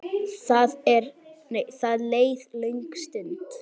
Það leið löng stund.